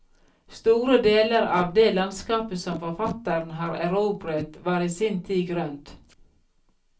Store deler av det landskapet som forfatteren har erobret, var i sin tid grønt.